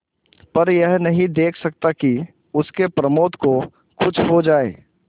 पर यह नहीं देख सकता कि उसके प्रमोद को कुछ हो जाए